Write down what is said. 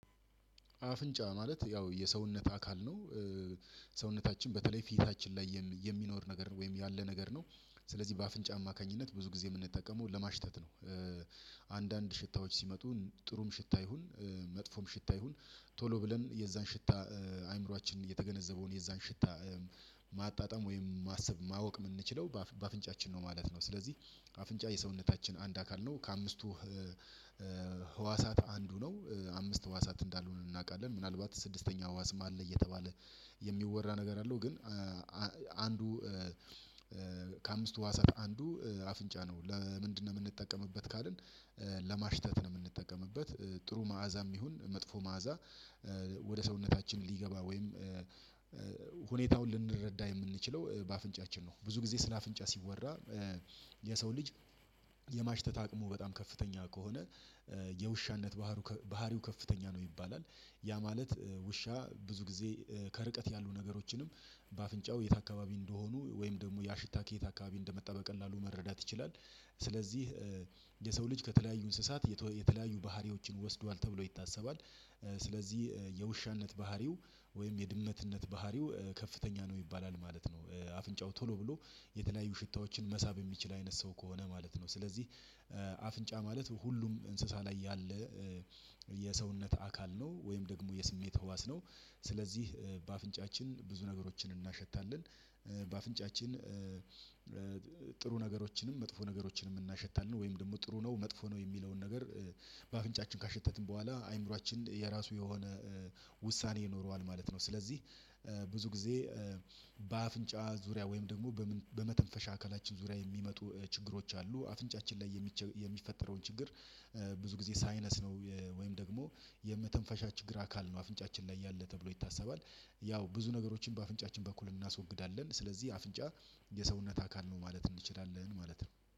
አፍንጫ ማለት ያው የሰውነት አካል ነው። ሰውነታችን በተለይ ፊታችን ላይ የሚኖር ነገር ወይም ያለ ነገር ነው። ስለዚህ በአፍንጫ አማካኝነት ብዙ ጊዜ የምንጠቀመው ለማሽተት ነው። አንዳንድ ሽታዎች ሲመጡ ጥሩም ሽታ ይሁን መጥፎም ሽታ ይሁን ቶሎ ብለን የዛን ሽታ አእምሮአችን የተገነዘበውን የዛን ሽታ ማጣጣም ወይም ማሰብ ማወቅ የምንችለው በአፍንጫችን ነው ማለት ነው። ስለዚህ አፍንጫ የሰውነታችን አንድ አካል ነው ከአምስቱ ህዋሳት አንዱ ነው። አምስት ህዋሳት እንዳልሆነ እናውቃለን ምናልባት ስድስተኛው ህዋስም አለ እየተባለ የሚወራ ነገር አለው። ግን አንዱ ከአምስቱ ህዋሳት አንዱ አፍንጫ ነው። ለምንድነው የምንጠቀምበት ካልን ለማሽተት ነው። የምንጠቀምበት ጥሩ መዓዛም ይሁን መጥፎ መዓዛ ወደ ሰውነታችን ሊገባ ወይም ሁኔታውን ልንረዳ የምንችለው በአፍንጫችን ነው። ብዙ ጊዜ ስለ አፍንጫ ሲወራ የሰው ልጅ የማሽተት አቅሙ በጣም ከፍተኛ ከሆነ የውሻነት ባህሩ ባህሪው ከፍተኛ ነው። ይባላል ያ ማለት ውሻ ብዙ ጊዜ ከርቀት ያሉ ነገሮችንም በአፍንጫው የት አካባቢ እንደሆኑ ወይም ደግሞ ያ ሽታ ከየት አካባቢ እንደመጣ በቀላሉ መረዳት ይችላል። ስለዚህ የሰው ልጅ ከተለያዩ እንስሳት የተለያዩ ባህሪዎችን ወስዷል ተብሎ ይታሰባል። ስለዚህ የውሻነት ባህሪው ወይም የድመትነት ባህሪው ከፍተኛ ነው ይባላል ማለት ነው። አፍንጫው ቶሎ ብሎ የተለያዩ ሽታዎችን መሳብ የሚችል አይነት ሰው ከሆነ ማለት ነው። ስለዚህ አፍንጫ ማለት ሁሉም እንስሳ ላይ ያለ የሰውነት አካል ነው ወይም ደግሞ የስሜት ህዋስ ነው። ስለዚህ በአፍንጫችን ብዙ ነገሮችን እናሸታለን በአፍንጫችን ጥሩ ነገሮችንም መጥፎ ነገሮችንም እናሸታለን ወይም ደግሞ ጥሩ ነው መጥፎ ነው የሚለውን ነገር በአፍንጫችን ካሸተትን በኋላ አይምሮአችን የራሱ የሆነ ውሳኔ ይኖረዋል ማለት ነው። ስለዚህ ብዙ ጊዜ በአፍንጫ ዙሪያ ወይም ደግሞ በመተንፈሻ አካላችን ዙሪያ የሚመጡ ችግሮች አሉ። አፍንጫችን ላይ የሚፈጠረውን ችግር ብዙ ጊዜ ሳይነስ ነው ወይም ደግሞ የመተንፈሻ ችግር አካል ነው አፍንጫችን ላይ ያለ ተብሎ ይታሰባል። ያው ብዙ ነገሮችን በአፍንጫችን በኩል እናስወግዳለን ስለዚህ አፍንጫ የሰውነት አካል ነው ማለት እንችላለን ማለት ነው